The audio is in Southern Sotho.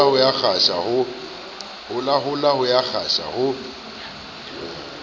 holahola o a kgasa o